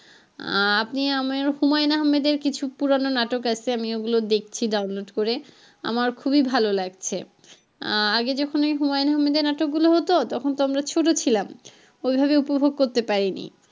আহ আপনি আমাকে হুমায়ুন আহমেদের কিছু পুরানো নাটক আছে আমি ওগুলো দেখছি download করে আমার খুবই ভালো লাগছে আহ আগে যখন ওই হুমায়ুন আহমেদের নাটক গুলা হতো তখন তো আমরা ছোটো ছিলাম ওইভাবে উপভোগ করতে পারিনি।